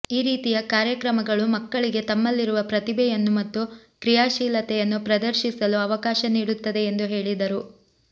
ಈ ರೀತಿಯ ಕಾರ್ಯಕ್ರಮಗಳು ಮಕ್ಕಳಿಗೆ ತಮ್ಮಲ್ಲಿರುವ ಪ್ರತಿಭೆಯನ್ನು ಮತ್ತು ಕ್ರಿಯಾಶೀಲತೆಯನ್ನು ಪ್ರದರ್ಶಿಸಲು ಅವಕಾಶ ನೀಡುತ್ತದೆ ಎಂದು ಹೇಳಿದರು